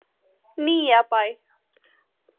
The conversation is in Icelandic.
Nýjabæ